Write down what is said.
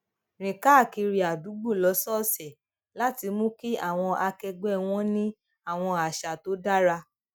rìn káàkiri adugbo lósòòsè láti mú kí àwọn akẹgbẹ wọn ní àwọn àṣà tó dára